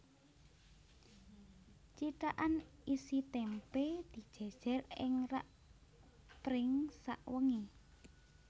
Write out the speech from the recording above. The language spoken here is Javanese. Cithakan isi témpé dijèjèr ing rak pring sawengi